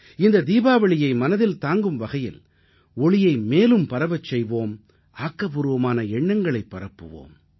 இந்த தீபாவளியை மனதில் தாங்கும் வகையில் ஒளியை மேலும் பரவச் செய்வோம் ஆக்கப்பூர்வமான எண்ணங்களைப் பரப்புவோம்